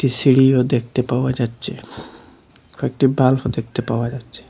সিঁড়িও দেখতে পাওয়া যাচ্ছে কয়েকটি বাল্ব -ও দেখতে পাওয়া যাচ্ছে।